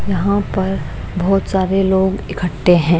यहाँ पर बहुत सारे लोग इकट्ठे हैं।